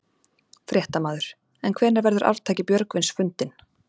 Fréttamaður: En hvenær verður arftaki Björgvins fundinn?